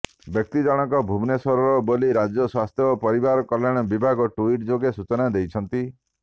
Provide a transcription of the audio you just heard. ବ୍ୟକ୍ତି ଜଣକ ଭୁବନେଶ୍ୱରର ବୋଲି ରାଜ୍ୟ ସ୍ୱାସ୍ଥ୍ୟ ଓ ପରିବାର କଲ୍ୟାଣ ବିଭାଗ ଟୁଇଟ୍ ଯୋଗେ ସୂଚନା ଦେଇଛି